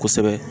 Kosɛbɛ